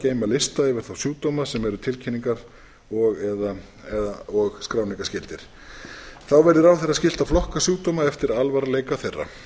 geyma lista yfir þá sjúkdóma sem eru tilkynningar og skráningarskyldir þá verði ráðherra skylt að flokka sjúkdóma eftir alvarleika þeirra